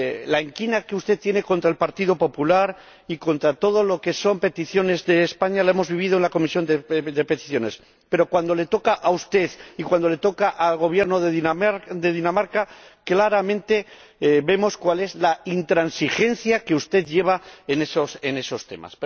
La inquina que usted tiene contra el Partido Popular y contra todo lo que son peticiones de España la hemos vivido en la Comisión de Peticiones, pero cuando le toca a usted y cuando le toca al Gobierno de Dinamarca, claramente vemos cuál es la intransigencia que usted aplica en esos temas.